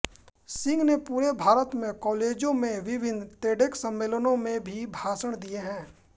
सिंह ने पूरे भारत में कालेजो में विभिन्न तेडेक्स सम्मेलनों में भी भाषण दिए है